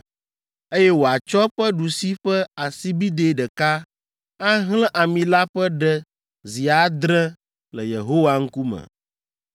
eye wòatsɔ eƒe ɖusi ƒe asibidɛ ɖeka ahlẽ ami la ƒe ɖe zi adre le Yehowa ŋkume.